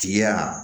Tigi ya